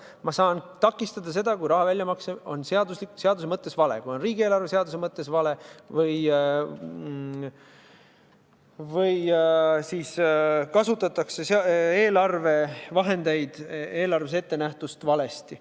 Ma saan takistada seda, kui raha väljamakse on seaduse mõttes vale, kui see on riigieelarve seaduse mõttes vale või kui eelarvevahendeid kasutatakse eelarves ettenähtu suhtes valesti.